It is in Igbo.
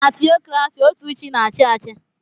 Na tiokrasi otú chi na-achị achị.